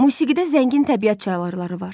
Musiqidə zəngin təbiət çaları var.